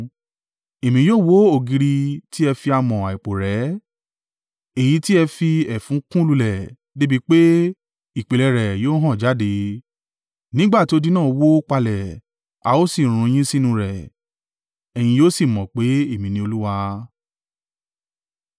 Èmi yóò wó ògiri tí ẹ fi amọ̀ àìpò rẹ́, èyí tí ẹ fi ẹfun kùn lulẹ̀ dé bi pé ìpìlẹ̀ rẹ yóò hàn jáde. Nígbà ti odi náà wó palẹ̀, a ó sì run yín sínú rẹ̀, ẹ̀yin yóò sì mọ̀ pé, Èmi ni Olúwa.